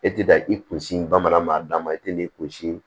E tɛ ka i kunsi bamanankan d'a ma e tɛ n'i kunsi